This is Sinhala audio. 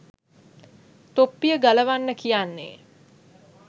තොප්පිය ගලවන්න කියන්නේ